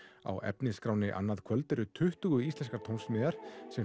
á efnisskránni annað kvöld eru tuttugu íslenskar tónsmíðar sem